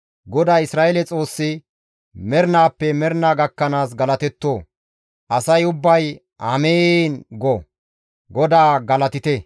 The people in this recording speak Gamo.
GODAY, Isra7eele Xoossi mernaappe mernaa gakkanaas galatetto! Asay ubbay, «Amiin» go. GODAA galatite!